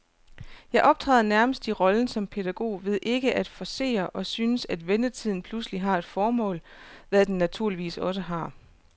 Jeg optræder nærmest i rollen som pædagog ved ikke at forcere, og synes, at ventetiden pludselig har et formål, hvad den naturligvis også har.